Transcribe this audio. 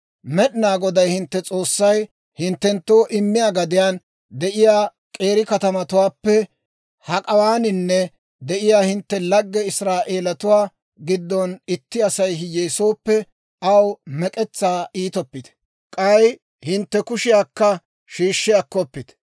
«Med'inaa Goday hintte S'oossay hinttenttoo immiyaa gadiyaan de'iyaa k'eeri katamatuwaappe hak'awaaninne de'iyaa hintte lagge Israa'eelatuwaa giddon itti Asay hiyyeesooppe, aw mek'etsaa iitoppite; k'ay hintte kushiyaakka shiishshi akkoppite.